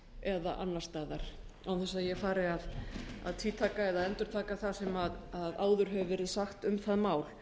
eða annars staðar án þess að ég fari að tvítaka eða endurtaka það sem áður hefur verið sagt um það mál